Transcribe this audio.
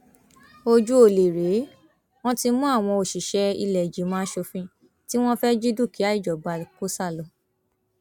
ojú ọlẹ rèé wọn ti mú àwọn òṣìṣẹ ìlẹẹjìmọ asòfin tí wọn fẹẹ jí dúkìá ìjọba kó sá lọ